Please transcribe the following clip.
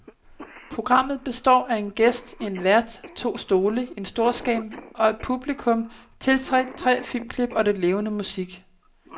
Programmet består af en gæst, en vært, to stole, en storskærm og et publikum, tilsat tre filmklip og lidt levende musik.